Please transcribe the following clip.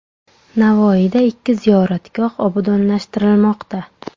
Navoiyda ikki ziyoratgoh obodonlashtirilmoqda.